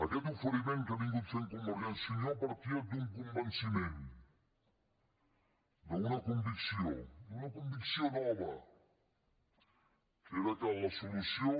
aquest oferiment que ha anat fent convergència i unió partia d’un convenciment d’una convicció d’una convicció nova que era que la solució